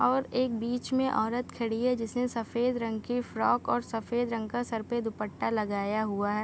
और एक बीच में औरत खड़ी है जिसने सफेद रंग की फ्रोक और सफेद रंग का सर पे दुपट्टा लगाया हुवा है।